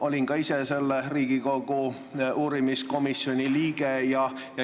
Olin ka ise selle Riigikogu uurimiskomisjoni liige.